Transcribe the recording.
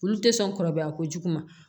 Olu tɛ sɔn kɔrɔbaya kojugu ma